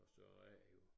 Og så er det jo